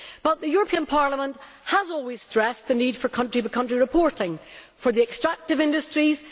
The European Parliament has always stressed the need for country by country reporting for the extractive industries.